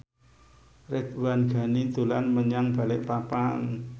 Ridwan Ghani dolan menyang Balikpapan